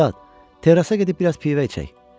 Ustad, terrasa gedib biraz pivə içək.